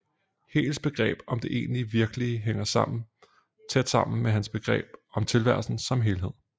Hegels begreb om det egentligt virkelige hænger tæt sammen med hans begreb om tilværelsen som helhed